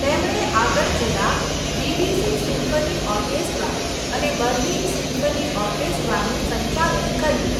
તેમણે આગળ જતાં બીબીસી સિમ્ફની ઓર્કેસ્ટ્રા અને બર્લિન સિમ્ફની ઓર્કેસ્ટ્રાનું સંચાલન કર્યું.